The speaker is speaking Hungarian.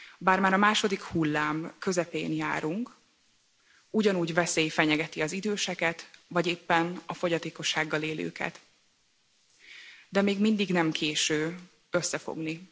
Bár már a második hullám közepén járunk, ugyanúgy veszély fenyegeti az időseket, vagy éppen a fogyatékossággal élőket, de még mindig nem késő összefogni.